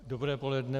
Dobré poledne.